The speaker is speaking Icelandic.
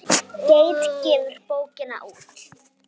Geit gefur bókina út.